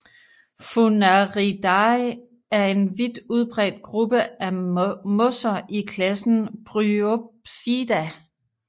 Funariidae er en vidt udbredt gruppe af mosser i klassen Bryopsida